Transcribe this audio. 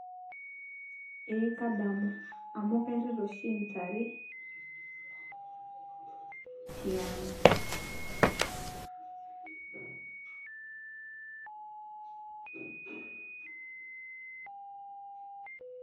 Ee kadamu amu kairita oshi intare tiang'.